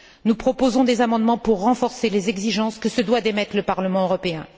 Nous proposons des amendements pour renforcer les exigences que se doit d'émettre le Parlement européen.